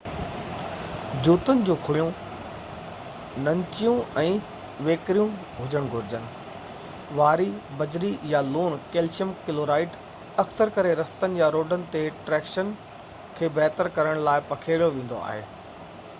جوتن جون کُڙيون ننچيون ۽ ويڪريون هجڻ گهرجن. واري، بجري يا لوڻ ڪئلشيم ڪلورائيڊ اڪثر ڪري رستن يا روڊن تي ٽريڪشن کي بهتر ڪرڻ لاءِ پکيڙيو ويندو آهي